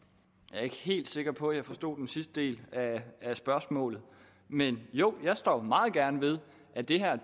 er ikke helt sikker på at jeg forstod den sidste del af spørgsmålet men jo jeg står meget gerne ved at det her